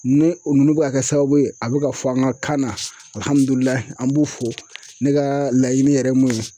Ni olu bɛ ka kɛ sababu ye a bɛ ka fɔ an ka kan na alhamdulilayi an b'u fo ne ka laɲini yɛrɛ mun ye